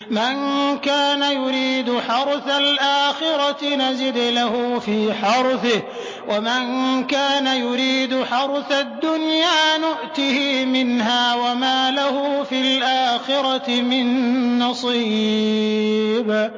مَن كَانَ يُرِيدُ حَرْثَ الْآخِرَةِ نَزِدْ لَهُ فِي حَرْثِهِ ۖ وَمَن كَانَ يُرِيدُ حَرْثَ الدُّنْيَا نُؤْتِهِ مِنْهَا وَمَا لَهُ فِي الْآخِرَةِ مِن نَّصِيبٍ